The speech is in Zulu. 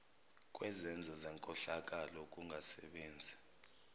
kwezenzo zenkohlakalo ukungasebenzi